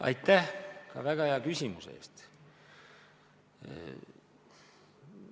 Aitäh väga hea küsimuse eest!